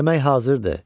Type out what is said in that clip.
Yemək hazırdır.